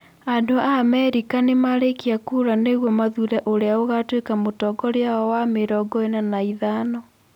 Andũ a Amerika nĩ marĩkia kura nĩguo mathuure ũrĩa ũgaatuĩka mũtongoria wao wa mĩrongo ĩna na ĩthano .